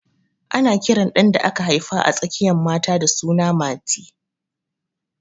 Ana kiran ɗan da aka haifa a tsakiyan mata da suna Mati